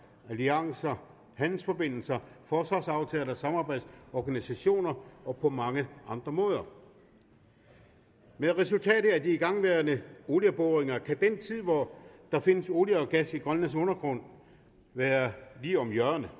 og alliancer handelsforbindelser forsvarsaftaler samarbejdsorganisationer og på mange andre måder med resultatet af de igangværende olieboringer kan den tid hvor der findes olie og gas i grønlands undergrund være lige om hjørnet